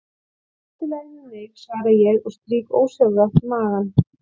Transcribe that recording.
Það er allt í lagi með mig, svara ég og strýk ósjálfrátt magann.